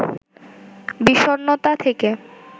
বিষণ্ণতা থেকে